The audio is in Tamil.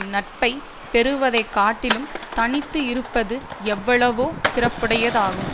நட்பை பெறுவதைக் காட்டிலும் தனித்து இருப்பது எவ்வளவோ சிறப்புடையதாகும்